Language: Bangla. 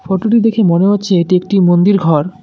ফটো -টি দেখে মনে হচ্ছে এটি একটি মন্দির ঘর।